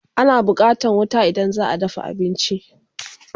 Ana buƙatan wuta idan zaa dafa abinci